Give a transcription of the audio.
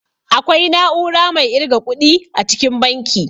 Akwai na'ura mai irga ƙuɗi a cikin banki